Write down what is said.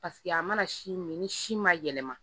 a mana si min ni si ma yɛlɛma